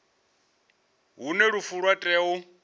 hune lufu lwa tea u